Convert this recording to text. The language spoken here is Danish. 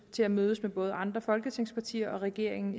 til at mødes med både andre folketingspartier og regeringen